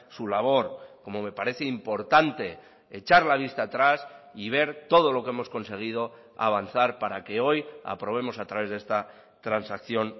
su labor como me parece importante echar la vista atrás y ver todo lo que hemos conseguido avanzar para que hoy aprobemos a través de esta transacción